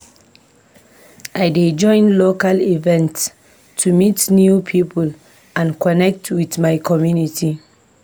I dey join local events to meet new people and connect with my community.